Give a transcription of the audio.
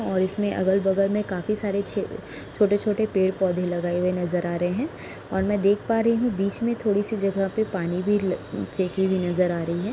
और इसमें अगल-बगल में काफी सारे छ छोटे-छोटे पेड़ पौधे लगाए हुए नजर आ रहे हैं और मैं देख पा रही हूं बीच में थोड़ी सी जगह पे पानी भी फे फेकी हुई नजर आ रही है।